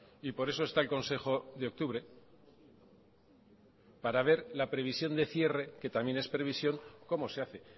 y por eso está el consejo de octubre para ver la previsión de cierre que también es previsión cómo se hace